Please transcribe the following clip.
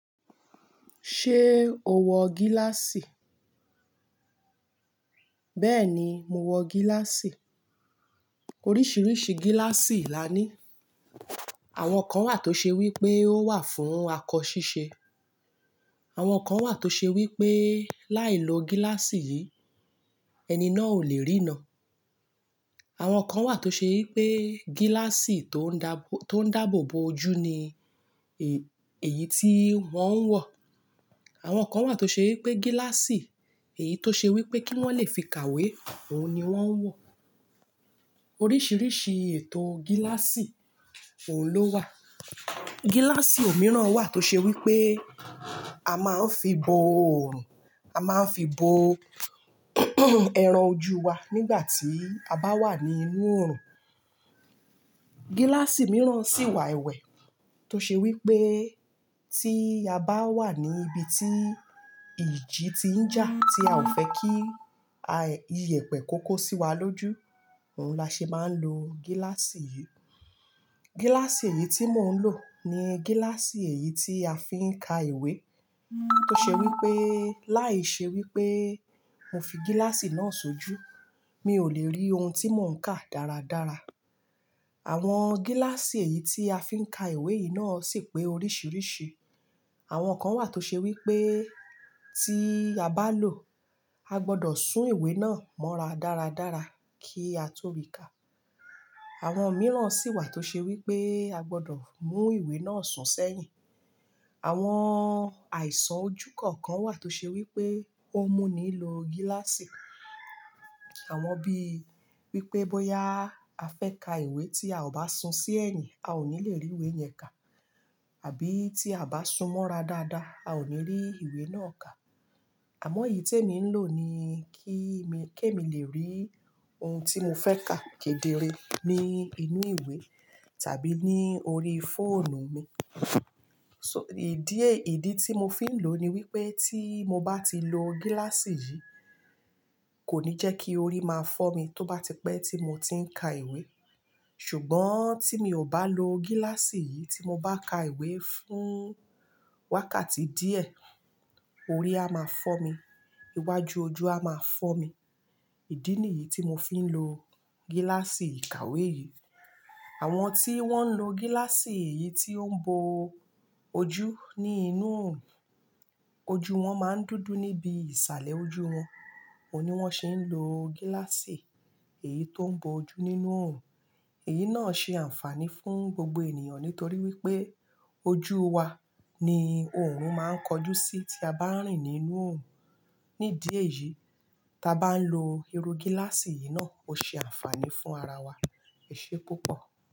Ṣé o wọ gíláàsì? Bẹ́ẹ̀ ni, mo wọ gíláàsì. Oríṣiríṣi gíláàsì la ní. Àwọn kan wà tó ṣe wí pé ó wà fún akọ ṣíṣe. Àwọn kan wà tó ṣe wí pé láìlo gíláàsì yìí, ẹni náà ò lè rína. Àwọn kan wà tó ṣe wí pé gíláàsì tó ń dà, tó ń dàbò bo ojú ni èyí tí wọ́n ń wọ. Àwọn kan wà tó ṣe wí pé gíláàsì èyí tó ṣe wí pé kí wọ́n lè fi kàwé, òhun ni wọ́n ń wọ. Oríṣiríṣi ètò gíláàsì, òun ló wà. Gíláàsì mìíràn wà tó ṣe wí pé a máa ń fi bo oorun, a máa ń fi bo ẹran ojú wa nígbà tí a bá wà ní inú oòrùn. Gíláàsì mìíràn sì wà ẹ̀wẹ̀ tó ṣe wí pé tí a bá wà ní ibi tí ìjì ti ń jà, tí a ò fẹ́ kí ayẹ, iyẹ̀pẹ̀ kó kó sí wa lójú, òhun la ṣe máa ń lo gíláàsì yìí. Gíláàsì èyí tí mò ń lò ni gíláàsì èyí tí a fi ń ka ìwé tó ṣe wí pé láìṣe wí pé mo fi gíláàsì náà sojú, mi ò lè rí ohun tí mò ń kà dáradára. Àwọn gíláàsì èyí tí a fi ń ka ìwé yìí náà sì pé oríṣiríṣi. Àwọn kan wà tó ṣe wí pé tí a bá lò, a gbọdọ̀ sún ìwé náà mọ́ra dáradára kí a tó rí ka. Àwọn mìíràn sì wà tó ṣe wí pé a gbọdọ̀ mú ìwé náà sún sẹ́yìn. Àwọn àìsàn ojú kọ̀ọ̀kan wà tó ṣe wípé ó n múni lo gíláàsì. Àwọn bí i wípé bóyá a fẹ́ ka ìwé tí a ò bá sun sí ẹ̀yìn, a ò ní lè rí ìwé yẹn kà àbí tí a bá sun mọ́ra dáadáa, a ò ní rí ìwé náà kà. Àmọ́ èyí tí èmi ń lò ni kí mi, kí èmi lè rí ohun tí mo fẹ́ kà kedere ní inú ìwé tàbí ní orí fóònù mi. So, ìdí, èyí idi tí mo fi ń lò ni wípé tí mo bá ti lo gíláàsì yìí kò ní jẹ́ kí orí máa fọ́mi tó bá tipẹ́ tí mo ti ń ka ìwé. Ṣùgbọ́n tí mi ò bá lo gíláàsì yìí tí mo bá ka ìwé fún wákàtí díẹ̀, orí a máa fọ́mi. Iwájú ojú a máa fọ́mi. Ìdí nìyí tí mo fi ń lo gíláàsì ìkàwé yìí. Àwọn tí wọ́n ń lo gíláàsì èyí tó ń bo ojú ní inú oòrùn, ojú wọn máa ń dúdú níbi ìsàlẹ̀ ojú wọn. Òhun ni wọ́n sì ń lo gíláàsì èyí tó ń bo ojú nínú oòrùn. Èyí náà ṣe àǹfààní fún gbogbo ènìyàn nítorí wípé ojú wa ni òòrùn máa ń kojú sí tí a bá rìn nínú oòrùn. Ní idi eyìí, ti a bá ń lo irú gíláàsì yìí náà, ó ṣe àǹfààní fún ara wa. Ẹ̀ṣé púpọ̀